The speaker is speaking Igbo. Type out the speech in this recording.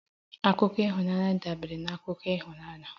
Akụkọ ịhụnanya dabeere na akụkọ ịhụnanya